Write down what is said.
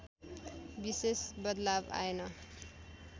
विशेष बदलाव आएन